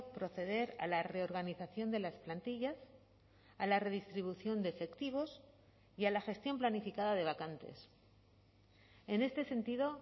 proceder a la reorganización de las plantillas a la redistribución de efectivos y a la gestión planificada de vacantes en este sentido